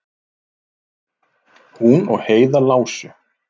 Hún og Heiða lásu